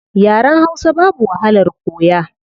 Yaren hausa babu wahalar koya